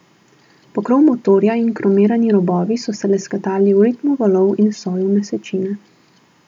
Pokrov motorja in kromirani robovi so se lesketali v ritmu valov in soju mesečine.